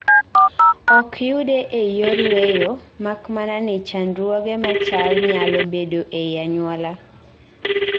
ok yude ei yor weyo, mak mana ni chandruoge machal nyalo bedo ei anyuola